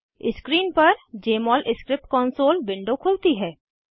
screen पर Jmol script console window खुलती है